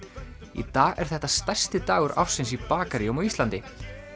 í dag er þetta stærsti dagur ársins í bakaríum á Íslandi